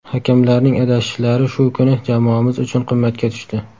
Hakamlarning adashishlari shu kuni jamoamiz uchun qimmatga tushdi.